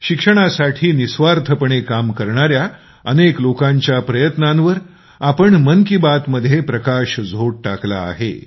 शिक्षणासाठी निस्वार्थपणे काम करणाऱ्या अनेक लोकांच्या प्रयत्नांवर आम्ही मन की बात मध्येप्रकाशझोत टाकला आहे